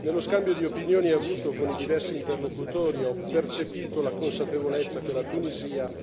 Nello scambio di opinioni avuto con i diversi interlocutori ho percepito la consapevolezza che la Tunisia